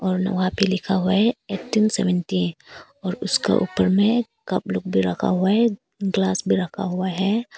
और वहां पे लिखा हुआ एट्टीन सेवेंटी और उसका ऊपर में कप लोग भी रखा हुआ है ग्लास भी रखा हुआ है।